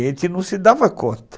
A gente não se dava conta.